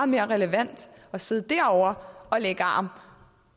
mere relevant at sidde derovre og lægge arm